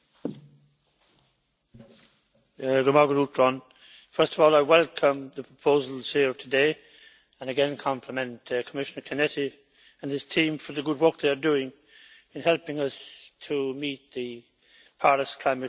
Mr President, first of all I welcome the proposals here today and again compliment Commissioner Cañete and his team for the good work they are doing in helping us to meet the Paris climate targets.